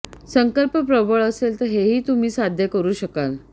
संकल्प प्रबळ असेल तर हेही तुम्ही साध्य करू शकाल